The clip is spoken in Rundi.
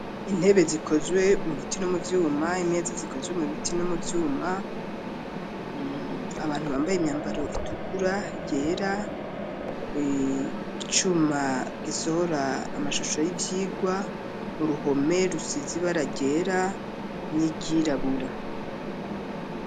Intebe zikozwe mubiti no mu vyuma, imeza zikozwe mu biti no mu vyuma, abantu bambaye imyambaro itukura yera ,icuma gisohora amashusho y'ivyigwa ,uruhome rusizibara ryera n'iryirabura.